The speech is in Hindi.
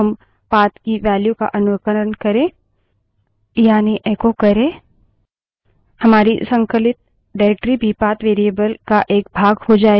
अब यदि हम path की value का अनुकरण करें यानि echo करे